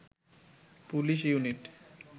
police unit